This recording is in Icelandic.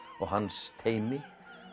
og hans teymi